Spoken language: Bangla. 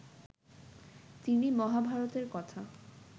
তিনি মহাভারতের কথা